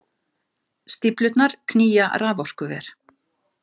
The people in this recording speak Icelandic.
Stíflurnar knýja raforkuver.